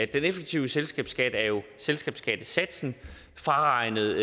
den effektive selskabsskat er jo selskabsskattesatsen fraregnet